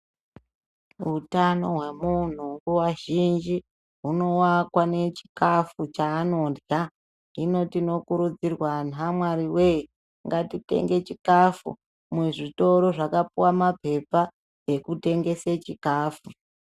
Utano hwemunhu nguva zhinji huno wakwa ne chikafu chaanodya hino tino kurudzirwa anhu a Mwari we ngati tenge chikafu muzvitora zvakapuwa ma pepa eku tengese chikafu.